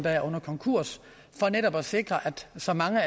er under konkurs for netop at sikre at så mange